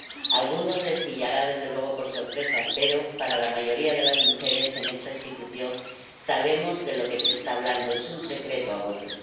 A algunos les pillará, desde luego, por sorpresa, pero para la mayoría de las mujeres en esta institución sabemos de lo que se está hablando es un secreto a voces.